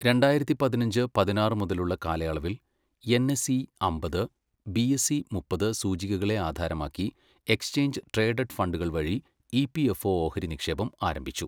രണ്ടായിരത്തി പതിനഞ്ച്, പതിനാറ് മുതലുള്ള കാലയളവിൽ എൻഎസ്ഇ അമ്പത്, ബിഎസ്ഇ മുപ്പത് സൂചികകളെ ആധാരമാക്കി എക്സ്ചേഞ്ച് ട്രേഡഡ് ഫണ്ടുകൾ വഴി ഇപിഎഫ്ഒ ഓഹരി നിക്ഷേപം ആരംഭിച്ചു.